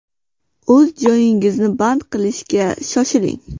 O‘z joyingizni band qilishga shoshiling!